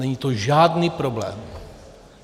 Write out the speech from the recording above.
Není to žádný problém.